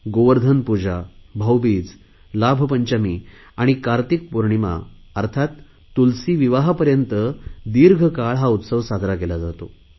गोवर्धन पूजा भाऊबीज लाभपंचमी आणि कार्तिक पौर्णिमा अर्थात तुलसी विवाहापर्यंत दीर्घ काळ हा उत्सव साजरा केला जातो